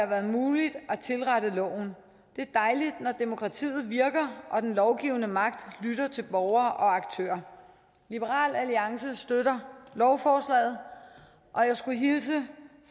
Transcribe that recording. været muligt at tilrette loven det er dejligt når demokratiet virker og den lovgivende magt lytter til borgere og aktører liberal alliance støtter lovforslaget og jeg skulle hilse